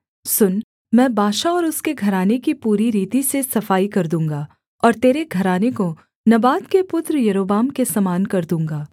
सुन मैं बाशा और उसके घराने की पूरी रीति से सफाई कर दूँगा और तेरे घराने को नबात के पुत्र यारोबाम के समान कर दूँगा